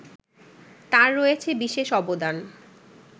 তার রয়েছে বিশেষ অবদান